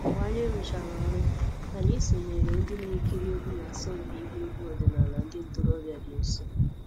Mgbe anyị rụchara ọrụ, anyị sonyeere ndị na-ekiri egwu na-asọmpi ịgba egwu ọdịnala ndị ntorobịa dị nso